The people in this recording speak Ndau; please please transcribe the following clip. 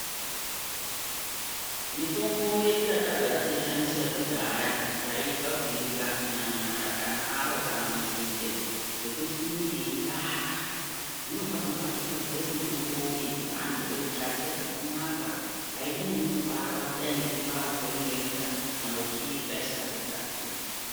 Mitombo yedu yatagara teishandisa yekudhaya taitya kuirya kunyanya mashakani awo kana nzinde ngekuti inenge yeivava, zvinopano vakazogadzire mitombo yechivanhu voigadzire zvakanaka aichanyanyi kuvava kudai ngekuvava kweinoita kana uchiirya isikazi kugadzirwa.